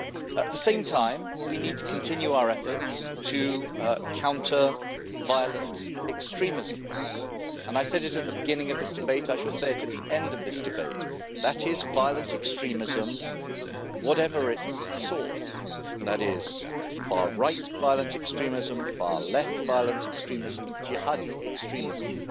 At the same time, we need to continue our efforts to counter violent extremism. I said it at the beginning of this debate and I shall say it at the end of this debate violent extremism, whatever its source that is, far right violent extremism, far left violent extremism, Jihadi extremism,